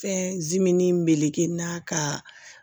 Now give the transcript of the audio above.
Fɛn zimini meleke n na ka